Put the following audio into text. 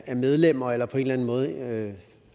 er medlemmer eller på en eller anden måde